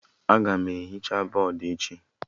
Aga m ehicha bọdụ echi